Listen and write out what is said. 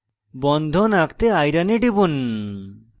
bond আঁকতে iron fe a টিপুন